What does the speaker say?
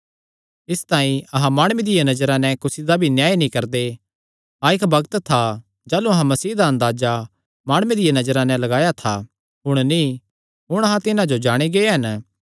इसतांई अहां माणुये दिया नजरा नैं कुसी दा भी न्याय नीं करदे हाँ इक्क बग्त था जाह़लू अहां मसीह दा अंदाजा माणुये दिया नजरा नैं लगाया था हुण नीं हुण अहां तिन्हां जो जाणी गै हन